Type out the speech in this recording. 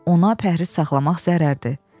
Ona pəhriz saxlamaq zərərdir.